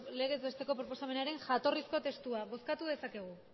legez besteko proposamenaren jatorrizko testua bozkatu dezakegu